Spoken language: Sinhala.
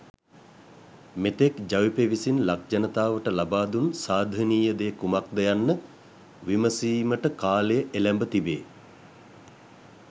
මෙතෙක් ජවිපෙ විසින් ලක් ජනතාවට ලබා දුන් සාධනීය දේ කුමක්ද යන්න විමසීමට කාලය එළැඹ තිබේ.